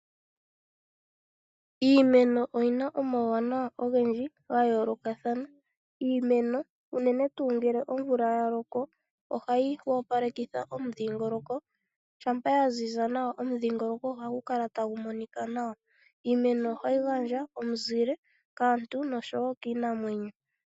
Iimeno oyi na omauwanawa ogendji ga yoolokathana. Iimeno uunene tuu ngele omvula ya loko ohayi opalekitha omudhingoloko shampa ya ziza nawa omudhingoloko ohagu kala tagu monika nawa. Iimeno ohayi gandja omuzile kaantu noshowo kiinamwenyo.